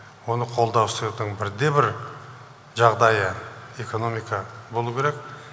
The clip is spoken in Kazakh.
оны қолда ұстаудың бірден бір жағдайы экономика болу керек